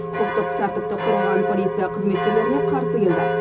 құқықтық тәртіпті қорғаған полиция қызметкерлеріне қарсы келді